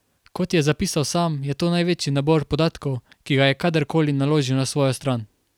Kot je zapisal sam, je to največji nabor podatkov, ki ga je kadar koli naložil na svojo stran.